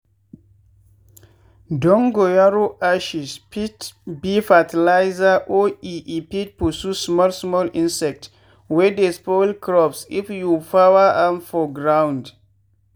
dongoyaro ashes fit be fertilser or e e fit pursue small small insect wey dey spoil crops if you pour am for ground.